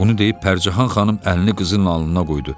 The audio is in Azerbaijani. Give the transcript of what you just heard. Bunu deyib Pərcahan xanım əlini qızının alnına qoydu.